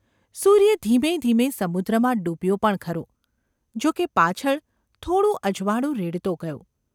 સૂર્ય ધીમે ધીમે સમુદ્રમાં ડૂબ્યો પણ ખરો, જો કે પાછળ થોડું અજવાળું રેડતો ગયો.